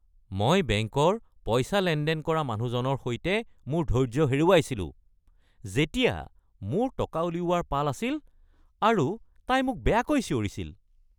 মই বেংকৰ পইচা লেনদেন কৰা মানুহজনৰ সৈতে মোৰ ধৈৰ্য্য হেৰুৱাইছিলো যেতিয়া মোৰ টকা উলিওৱাৰ পাল আছিল আৰু তাই মোক বেয়াকৈ চিঞৰিছিল।